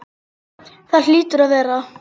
Það hlýtur að vera.